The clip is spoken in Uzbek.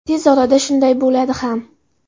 Tez orada shunday bo‘ladi ham.